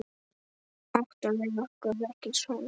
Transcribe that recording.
Áttum við okkur ekki son?